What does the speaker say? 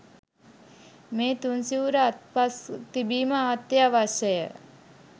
මේ තුන්සිවුර අත්පස තිබීම අත්‍යවශ්‍යය.